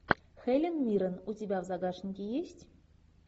хелен миррен у тебя в загашнике есть